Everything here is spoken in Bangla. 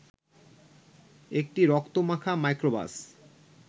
একটি রক্তমাখা মাইক্রোবাস